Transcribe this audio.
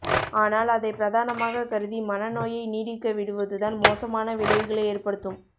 ஆனால் அதை பிரதானமாக கருதி மன நோயை நீடிக்க விடுவதுதான் மோசமான விளைவுகளை ஏற்படுத்தும்